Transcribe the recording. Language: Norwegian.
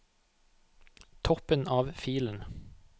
Toppen av filen